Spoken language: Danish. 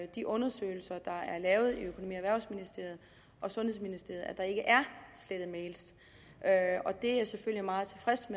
de undersøgelser der er lavet i økonomi og erhvervsministeriet og sundhedsministeriet at der ikke er slettet mails og det er jeg selvfølgelig meget tilfreds